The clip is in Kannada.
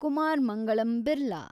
ಕುಮಾರ್ ಮಂಗಳಂ ಬಿರ್ಲಾ